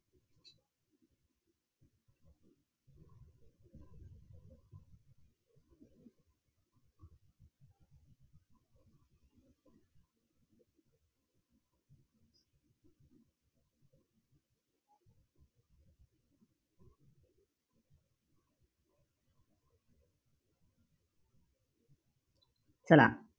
चला.